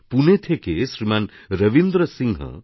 পুনে থেকে শ্রীমানরবীন্দ্র সিংহ